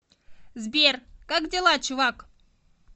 сбер как дела чувак